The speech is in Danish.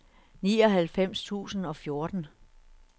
nioghalvfems tusind og fjorten